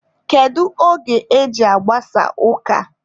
Kedu oge e ji agbasa ụka?